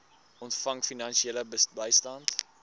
ontvang finansiële bystand